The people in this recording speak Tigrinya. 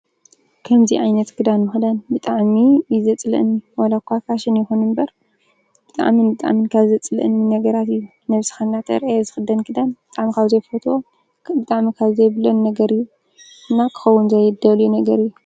ከምዚ ዓይነት ክዳን ምክዳን ብጣዕሚ እዩ ዘፅልኣኒ። ዋላኳ ፋሽን ይኩን እምበር ብጣዕሚ ካብ ዘፅልኣኒ ነገራት እዩ። ነብስካ እንዳተርኣየ ዝክደን ክዳን ብጣዕሚ ካብ ዘይፈትዎ ብጣዕሚ ዘፅልኣኒ ነገር እዩ እና ክከዉን ዘይደልዮ ነገር እዩ።